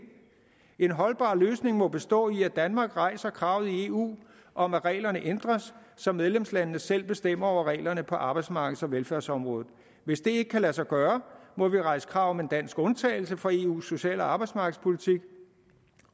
en holdbar løsning må bestå i at danmark rejser krav i eu om at reglerne ændres så medlemslandene selv bestemmer over reglerne på arbejdsmarkeds og velfærdsområdet hvis det ikke kan lade sig gøre må vi rejse krav om en dansk undtagelse for eus social og arbejdsmarkedspolitik